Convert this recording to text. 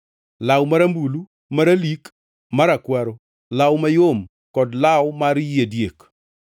law marambulu, maralik, marakwaro, law mayom kod law mar yie diek;